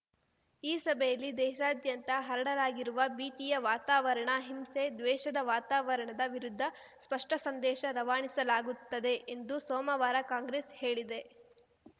ಈ ಸಭೆಯಲ್ಲಿ ದೇಶಾದ್ಯಂತ ಹರಡಲಾಗಿರುವ ಭೀತಿಯ ವಾತಾವರಣ ಹಿಂಸೆ ದ್ವೇಷದ ವಾತಾವರಣದ ವಿರುದ್ಧ ಸ್ಪಷ್ಟಸಂದೇಶ ರವಾನಿಸಲಾಗುತ್ತದೆ ಎಂದು ಸೋಮವಾರ ಕಾಂಗ್ರೆಸ್‌ ಹೇಳಿದೆ